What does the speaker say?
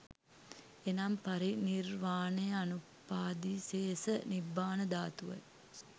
එනම් පරිනිර්වාණය අනුපාදිසේස නිබ්බාන ධාතුව යි.